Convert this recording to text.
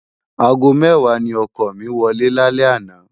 ágó mèwá ni òkò mi wòlé lálè àná